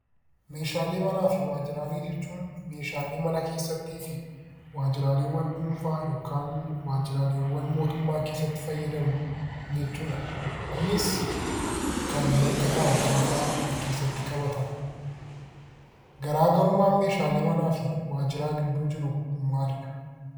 Meeshaalee manaa fi waajjiraalee jechuun meeshaalee mana keessatti fi waajjiraalee dhuunfaa yookiin waajjiraalee mootummaa keessatti fayyadamnu jechuudha. Kunis kanneen akka taa'umsaa fa'aa of keessatti qabata. Garaagarummaan meeshaalee manaa fi waajjiraalee gidduu jiru maalidhaa?